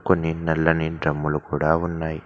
కొన్ని నల్లని డ్రమ్ములు కూడా ఉన్నాయి.